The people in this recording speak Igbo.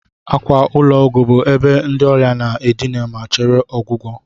akwa ụlọ ọgwụ bụ ebe ndị ọrịa na-adina ma chere ọgwụgwọ